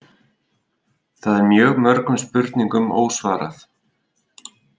Þar er mjög mörgum spurningum ósvarað